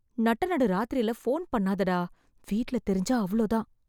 நட்ட நடு ராத்திரில ஃபோன் பண்ணாதடா... வீட்ல தெரிஞ்சா அவ்ளோதான்.